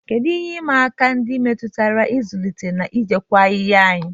Kedu ihe ịma aka ndị metụtara ịzụlite na ijikwa ahịhịa enyí?